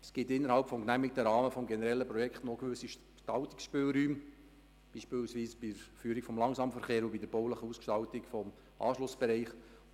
Es gibt innerhalb des genehmigten Rahmens des generellen Projekts gewisse Gestaltungsspielräume, beispielsweise bei der Führung des Langsamverkehrs und bei der baulichen Ausgestaltung des Anschlussbereichs.